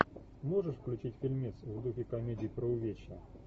можешь включить фильмец в духе комедий про увечья